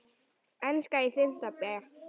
Enska í fimmta bé.